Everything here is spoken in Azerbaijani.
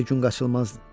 Belə gün qaçılmazdır.